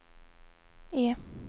E